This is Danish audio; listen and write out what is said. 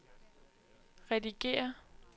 redigér